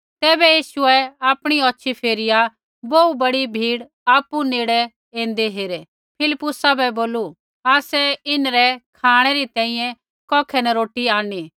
ज़ैबै यीशुऐ आपणी औछ़ी फेरिया बोहू बड़ी भीड़ आपु नेड़ ऐन्दै हेरै फिलिप्पुसा बै बोलू आसै इन्हरै खाँणै री तैंईंयैं कौखै न रोटी आंणनी